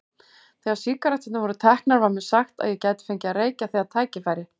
Þegar sígaretturnar voru teknar var mér sagt að ég gæti fengið að reykja þegar tækifæri